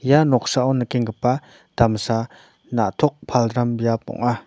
ia noksao nikengipa damsa na·tok palram biap ong·a.